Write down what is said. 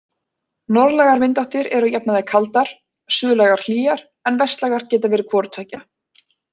Norðlægar vindáttir eru að jafnaði kaldar, suðlægar hlýjar, en vestlægar geta verið hvoru tveggja.